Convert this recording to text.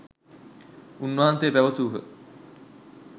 උන්වහන්සේ පැවැසූහ.